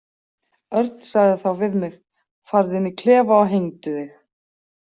Örn sagði þá við mig: „Farðu inn í klefa og hengdu þig“.